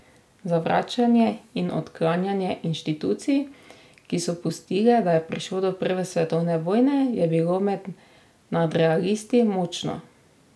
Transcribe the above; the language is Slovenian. Zavračanje in odklanjanje inštitucij, ki so pustile, da je prišlo do prve svetovne vojne, je bilo med nadrealisti močno.